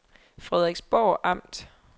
Frederiksborg Amt